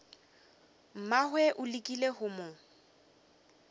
mmagwe o lekile go mo